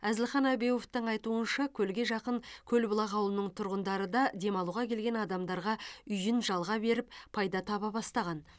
әзілхан әбеуовтің айтуынша көлге жақын көлбұлақ ауылының тұрғындары да демалуға келген адамдарға үйін жалға беріп пайда таба бастаған